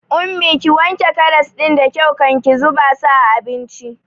Ummi, ki wanke karas ɗin da kyau kan ki zuba su a abincin!